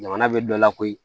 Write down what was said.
Jamana bɛ dɔ lakori